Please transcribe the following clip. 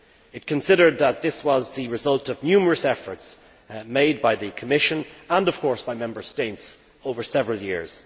It considered that this was the result of numerous efforts made by the Commission and, of course, by Member States over several years.